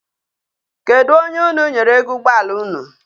Kedụ onye unu nyere ego ụgbọala unu?